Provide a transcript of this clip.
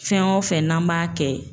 Fɛn o fɛn n'an m'a kɛ